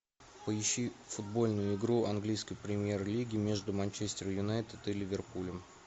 поищи футбольную игру английской премьер лиги между манчестер юнайтед и ливерпулем